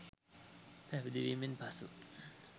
පැවිදි වීමෙන් පසු